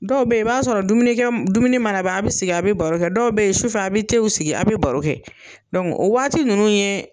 Dɔw be yen i b'a sɔrɔ dumunikɛ, dumuni mana ban a be sigi a be baro kɛ ,dɔw be yen sufɛ a be sigi a be baro kɛ. o waati ninnu ye